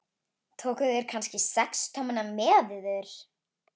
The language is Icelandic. Tókuð þér kannski sex tommuna með yður?